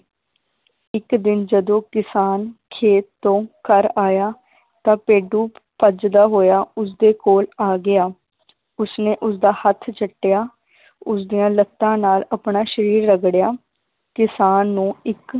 ਇਕ ਦਿਨ ਜਦੋ ਕਿਸਾਨ ਖੇਤ ਤੋਂ ਘਰ ਆਇਆ ਤਾਂ ਭੇਡੂ ਭੱਜਦਾ ਹੋਇਆ ਉਸਦੇ ਕੋਲ ਆ ਗਿਆ ਉਸਨੇ ਉਸਦਾ ਹੱਥ ਚੱਟਿਆ ਉਸਦੀਆਂ ਲੱਤਾਂ ਨਾਲ ਆਪਣਾ ਸ਼ਰੀਰ ਰਗੜਿਆ ਕਿਸਾਨ ਨੂੰ ਇੱਕ